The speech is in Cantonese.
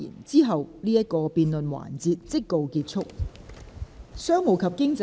之後這個辯論環節即告結束。